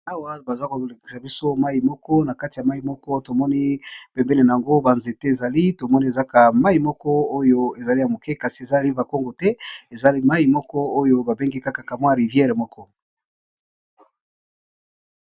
Awa baza kolekisa biso mayi moko na kati ya mayi moko tomoni pembene na yango banzete ezali tomoni ezaka mayi moko oyo ezali ya moke kasi ezali ba kongo te ezali mayi moko oyo babenge kakakamwi riviere moko.